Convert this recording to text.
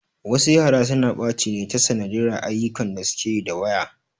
Wasu yara suna ɓaci ne ta sanadiyyar ayyukan da suke yi da waya.